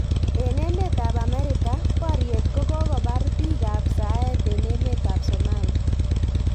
En emet ab America; boryet kokobar piik ab saet en emet ab Somalia